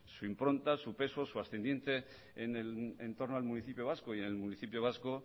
su impronta su peso su ascendiente en el entorno al municipio vasco y en el municipio vasco